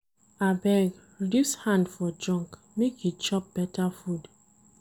Abeg, reduce hand for junk make you chop beta food.